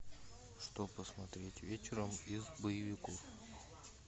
что посмотреть вечером из боевиков